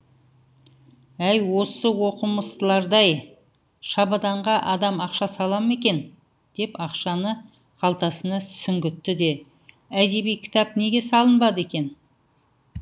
әй осы оқымыстыларды ай шабаданға адам ақша сала ма екен деп ақшаны қалтасына сүңгітті де әдеби кітап неге салынбады екен